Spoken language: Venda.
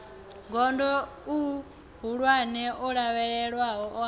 gondo ihulwane o lavhelelwaho a